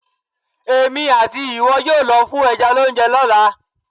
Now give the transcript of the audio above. Èmi àti ìwọ yóò lọ fún ẹja lóúnjẹ lọ́la.